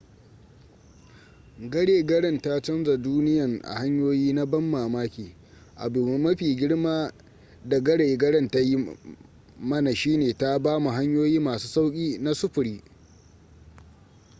gare garen ta canza duniyan a hanyoyi na ban mamaki abu mafi girma da gare garen ta yi mana shine ta bamu hanyoyi masu sauki na sufuri